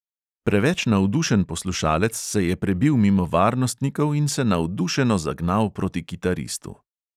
Preveč navdušen poslušalec se je prebil mimo varnostnikov in se navdušeno zagnal proti kitaristu.